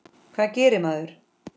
Hvað gerir maður?